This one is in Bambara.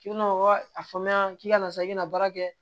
K'i bɛna o a fɔ ne ɲɛna k'i ka na sa i bɛna baara kɛ